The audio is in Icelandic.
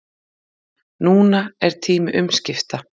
Núna er tími umskipta